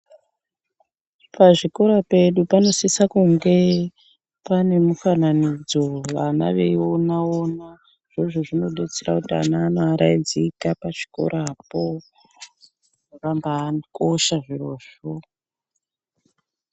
Pazvikora pedu panosise kunge pane mifananidzo vana veiona ona zvine zvezvinodetsera kuti vana vanoaraidzika pachikorapo zvakambaakosha zvirozvo.